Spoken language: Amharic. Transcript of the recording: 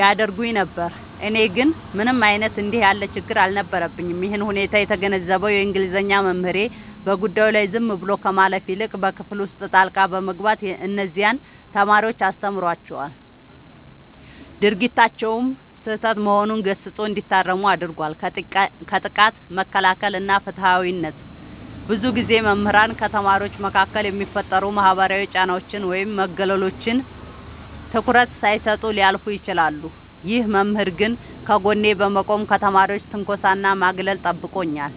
ያደርጉኝ ነበር። እኔ ግን ምንም አይነት እንዲህ ያለ ችግር አልነበረብኝም። ይህንን ሁኔታ የተገነዘበው የእንግሊዘኛ መምህሬ፣ በጉዳዩ ላይ ዝም ብሎ ከማለፍ ይልቅ በክፍል ውስጥ ጣልቃ በመግባት እነዚያን ተማሪዎች አስተምሯቸዋል፤ ድርጊታቸውም ስህተት መሆኑን ገስጾ እንዲታረሙ አድርጓል። ከጥቃት መከላከል እና ፍትሃዊነት፦ ብዙ ጊዜ መምህራን ከተማሪዎች መካከል የሚፈጠሩ ማህበራዊ ጫናዎችን ወይም መገለሎችን ትኩረት ሳይሰጡ ሊያልፉ ይችላሉ። ይህ መምህር ግን ከጎኔ በመቆም ከተማሪዎች ትንኮሳና ማግለል ጠብቆኛል።